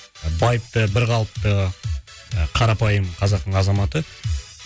байыпты бірқалыпты і қарапайым қазақтың азаматы